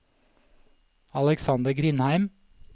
Aleksander Grindheim